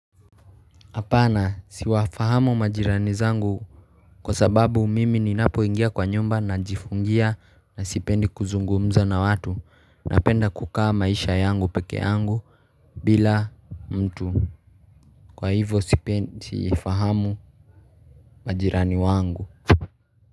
Hapana siwafahamu majirani zangu kwa sababu mimi ninapoingia kwa nyumba najifungia na sipendi kuzungumza na watu napenda kukaa maisha yangu peke yangu bila mtu kwa hivo sipendi fahamu majirani wangu.